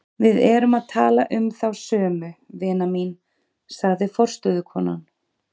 Við erum að tala um þá sömu, vina mín, sagði forstöðukonan.